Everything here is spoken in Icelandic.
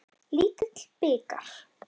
Lítill bikar.